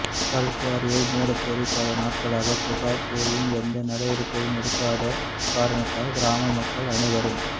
கல்குவாரியை மூடக்கோரி பல நாட்களாக புகார் கூறியும் எந்த நடவடிக்கையும் எடுக்காத காரணத்தால் கிராம மக்கள் அனைவரும்